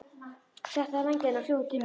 Settu á þig vængina og fljúgðu til mín.